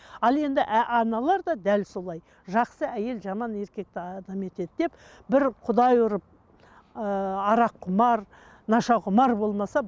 ал енді аналар да дәл солай жақсы әйел жаман еркекті адам етеді деп бір құдай ұрып ыыы араққұмар нашақұмар болмаса